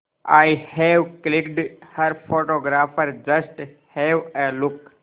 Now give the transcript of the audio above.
I have clicked her photographer just have a look